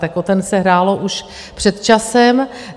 Tak o ten se hrálo už před časem.